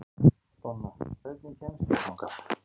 Donna, hvernig kemst ég þangað?